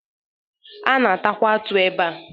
A na-atakwa atụ ebea.